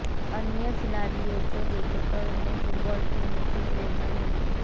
अन्य खिलाडि़यों को देखकर उन्हें फुटबाल खेलने की प्रेरणा मिली